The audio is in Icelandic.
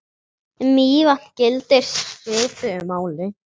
Um Mývatn gildir svipuðu máli.